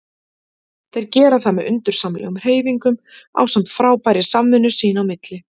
Þeir gera það með undursamlegum hreyfingum ásamt frábærri samvinnu sín á milli.